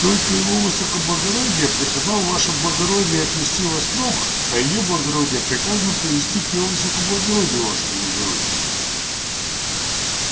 только его высокоблагородие приказал ваше благородие отвести в острог а её благородие приказано привести к его высокоблагородию ваше благородие